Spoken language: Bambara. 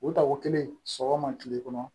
O tako kelen sɔgɔma kile kɔnɔ